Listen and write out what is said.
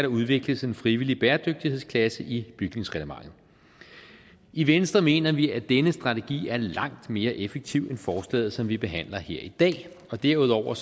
udvikles en frivillig bæredygtighedsklasse i bygningsreglementet i venstre mener vi at denne strategi er langt mere effektiv end forslaget som vi behandler her i dag derudover